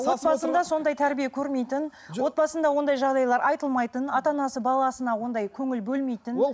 отбасында сондай тәрбие көрмейтін отбасында ондай жағдайлар айтылмайтын ата анасы баласына ондай көңіл бөлмейтін